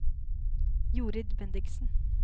Jorid Bendiksen